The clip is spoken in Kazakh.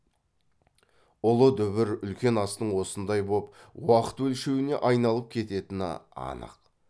ұлы дүбір үлкен астың осындай боп уақыт өлшеуіне айналып кететіні анық